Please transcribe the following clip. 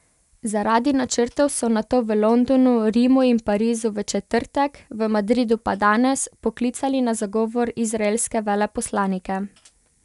Zaradi načrtov so nato v Londonu, Rimu in Parizu v četrtek, v Madridu pa danes, poklicali na zagovor izraelske veleposlanike.